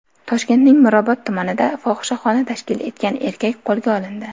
Toshkentning Mirobod tumanida fohishaxona tashkil etgan erkak qo‘lga olindi.